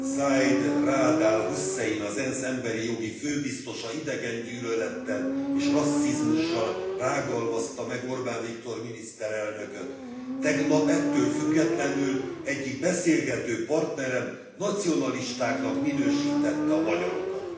Zeid Raad al Husszein, az ENSZ emberi jogi főbiztosa idegengyűlölettel és rasszizmussal rágalmazta meg Orbán Viktor miniszterelnököt. Tegnap, ettől függetlenül, egyik beszélgetőpartnerem nacionalistáknak minősítette a magyarokat.